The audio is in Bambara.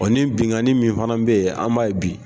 ni binkanni min fana bɛ yen an b'a ye bi.